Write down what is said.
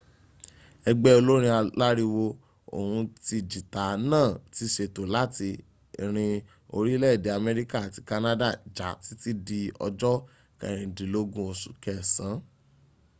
ẹgbé olórin alàriwo ohùn ti jìtá náà tí sétó làti rin orílẹ̀-èdè améríkà àti canada já títí di ọjọ́ kẹrìndínlógún osù kẹsàn